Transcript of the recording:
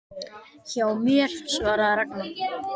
Hjá mér? svaraði Ragna.